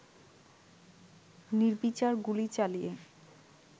নির্বিচার গুলি চালিয়ে